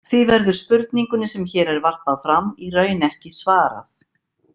Því verður spurningunni sem hér er varpað fram í raun ekki svarað.